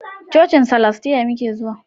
Cocin salastiya muke zuwa